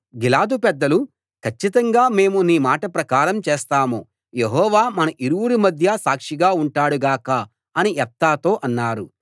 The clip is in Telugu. గిలాదు పెద్దలు కచ్చితంగా మేము నీ మాట ప్రకారం చేస్తాం యెహోవా మన ఇరువురి మధ్య సాక్షిగా ఉంటాడు గాక అని యెఫ్తాతో అన్నారు